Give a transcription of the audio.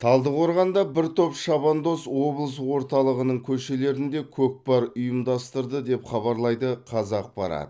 талдықорғанда бір топ шабандоз облыс орталығының көшелерінде көкпар ұйымдастырды деп хабарлайды қазақпарат